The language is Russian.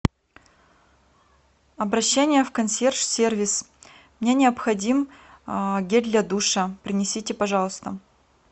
обращение в консьерж сервис мне необходим гель для душа принесите пожалуйста